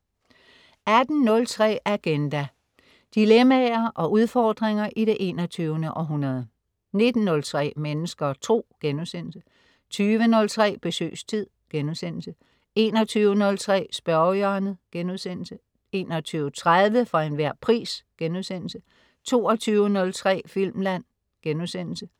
18.03 Agenda. Dilemmaer og udfordringer i det 21. århundrede 19.03 Mennesker og Tro* 20.03 Besøgstid* 21.03 Spørgehjørnet* 21.30 For Enhver Pris* 22.03 Filmland*